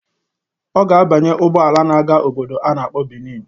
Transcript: Ọ ga-abanye ụgbọala na-aga obodo a na-akpọ Benin